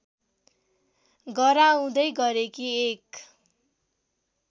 गराउँदै गरेकी एक